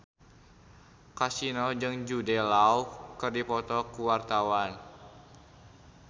Kasino jeung Jude Law keur dipoto ku wartawan